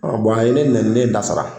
a ye ne nɛni ne ye n ta sara